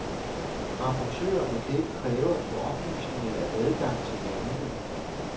Rapportørerne kan ikke kræve at få oplysninger eller adgang til landene.